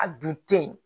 A dun te yen